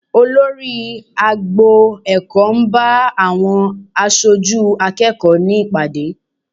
Olórí agbo ẹ̀kọ́ ń bá àwọn aṣojú akẹ́kọ̀ọ́ ní ìpàdé